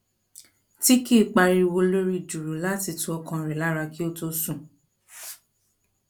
tí kì í pariwo lórí dùùrù láti tu ọkàn rẹ lára kí ó tó sùn